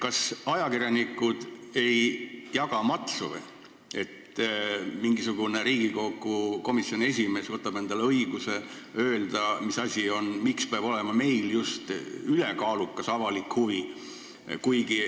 Kas ajakirjanikud ei jaga matsu, miks mingisugune Riigikogu komisjoni esimees võtab endale õiguse öelda, et just meil peab olema see ülekaalukas avalik huvi?